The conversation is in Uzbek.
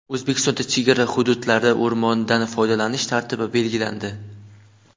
O‘zbekistonda chegara hududlarda o‘rmondan foydalanish tartibi belgilandi.